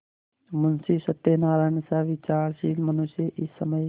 मुंशी सत्यनारायणसा विचारशील मनुष्य इस समय